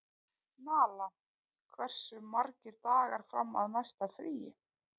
Nala, hversu margir dagar fram að næsta fríi?